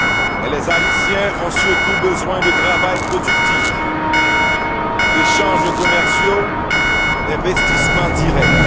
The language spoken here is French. Mais les Haïtiens ont surtout besoin de travail productif, d'échanges commerciaux et d'investissements directs.